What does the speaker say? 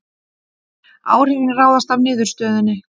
Áhrifin ráðast af niðurstöðunni